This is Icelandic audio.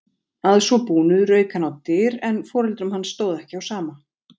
Að svo búnu rauk hann á dyr en foreldrum hans stóð ekki á sama.